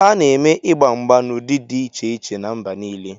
A na-eme igba mgba n'ụdị dị iche iche na mba nile